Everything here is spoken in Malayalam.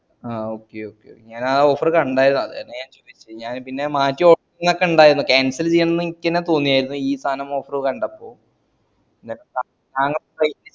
ആഹ് okay okay ഞാൻ ആ offer കണ്ടയര്ന്നു അത് തന്നയാ ഞാൻ ചോയിച്ചേ ഞാൻ അത് പിന്നേ offer ക്കെ ഇണ്ടായിരുന്നു cancel ചെയ്യണം ന്ന് എനിക്കെന്നെ തോന്നിയര്ന്നു ഈ സായാനം offer